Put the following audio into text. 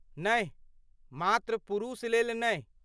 नहि, मात्र पुरुषलेल नहि।